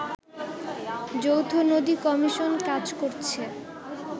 যৌথ নদী কমিশন কাজ করছে